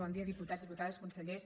bon dia diputats diputades consellers